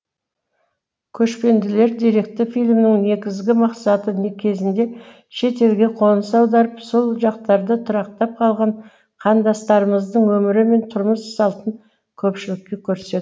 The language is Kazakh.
көшпенділер деректі фильмінің негізгі мақсаты кезінде шетелге қоныс аударып сол жақтарда тұрақтап қалған қандастарымыздың өмірі мен тұрмыс салтын көпшілікке көрсету